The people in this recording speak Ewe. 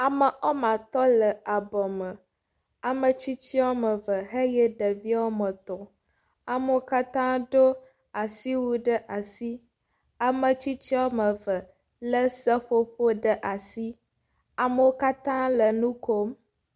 Ame wɔme atɔ le abɔ me. Ame tsitsi wɔme eve eye ɖevi wɔme etɔ̃. Ame wo katã doo asiwui ɖe asi. Ame tsitsi wɔme eve le seƒoƒo ɖe asi. Amewo katã le nu kom.